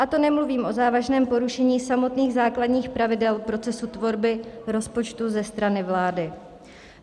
A to nemluvím o závažném porušení samotných základních pravidel procesu tvorby rozpočtu ze strany vlády.